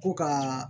Ko ka